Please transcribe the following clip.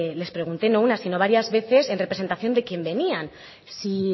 les pregunté no una sino varias veces en representación quién venían si